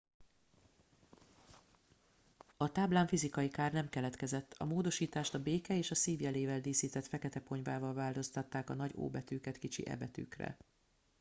a táblán fizikai kár nem keletkezett a módosítást a béke és a szív jelével díszített fekete ponyvával változtatták a nagy o betűket kicsi e betűkre